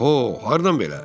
Oho, hardan belə?